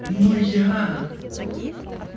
ну я